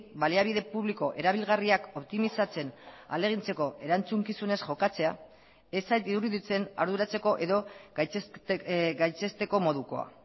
baliabide publiko erabilgarriak optimizatzen ahalegintzeko erantzukizunez jokatzea ez zait iruditzen arduratzeko edo gaitzesteko modukoa